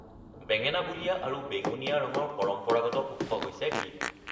বেঙেনা বুলীয়া আৰু বেঙুনীয়া ৰঙৰ পৰম্পৰাগত উৎস হৈছে বীট।